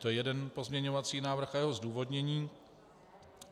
To je jeden pozměňovací návrh a jeho zdůvodnění.